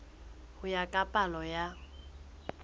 ho ya ka palo ya